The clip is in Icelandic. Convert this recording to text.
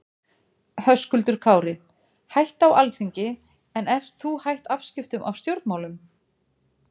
Höskuldur Kári: Hætta á Alþingi en ert þú hætt afskiptum af stjórnmálum?